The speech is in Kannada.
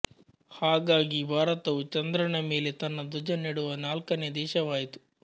ಹಾಗಾಗಿ ಭಾರತವು ಚಂದ್ರನ ಮೇಲೆ ತನ್ನ ಧ್ವಜ ನೆಡುವ ನಾಲ್ಕನೆಯ ದೇಶವಾಯಿತು